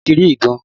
Ibo lo ti rí ìdun?